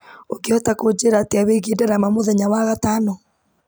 ũngĩhota kũnjĩra atĩa wĩgiĩ ndarama mũthenya wa gatano